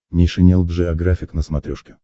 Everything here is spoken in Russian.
нейшенел джеографик на смотрешке